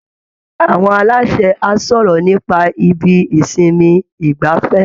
Àwọn aláṣẹ á sọ̀rọ̀ nípa ibi ìsinmi ìgbafẹ́